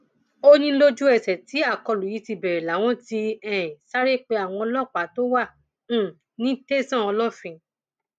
ó ní lójú ẹsẹ tí akólú yìí ti bẹrẹ làwọn ti um sáré pé àwọn ọlọpàá tó wà um ní tẹsán olófin